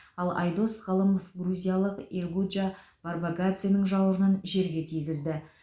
ал айдос ғалымов грузиялық элгуджа барбакадзенің жауырынын жерге тигізді